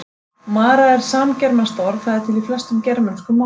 Mara er samgermanskt orð, það er til í flestum germönskum málum.